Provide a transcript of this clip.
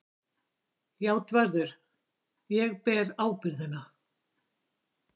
JÁTVARÐUR: Ég ber ábyrgðina.